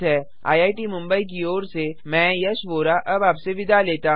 I I T Mumbai की ओर से मैं यश वोरा अब आप से विदा लेता हूँ